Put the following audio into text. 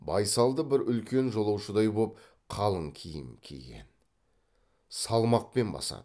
байсалды бір үлкен жолаушыдай боп қалың киім киген салмақпен басады